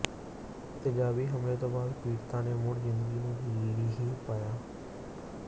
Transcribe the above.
ਤੇਜ਼ਾਬੀ ਹਮਲੇ ਤੋਂ ਬਾਅਦ ਪੀੜਤਾ ਨੇ ਮੁੜ ਜ਼ਿੰਦਗੀ ਨੂੰ ਲੀਹੇ ਪਾਇਆ